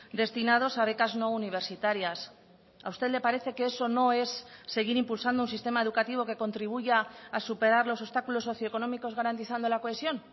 destinados a becas no universitarias a usted le parece que eso no es seguir impulsando un sistema educativo que contribuya a superar los obstáculos socioeconómicos garantizando la cohesión